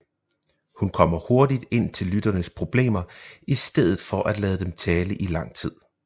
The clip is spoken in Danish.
Hun kommer hurtigt ind til lytterens problemer i stedet for at lade dem tale i lang tid